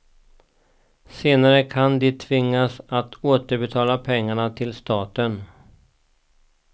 Senare kan de tvingas att återbetala pengarna till staten.